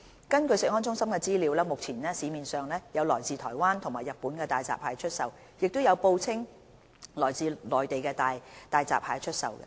根據食安中心的資料，目前市面上有來自台灣及日本的大閘蟹出售，亦有報稱來自內地的大閘蟹出售。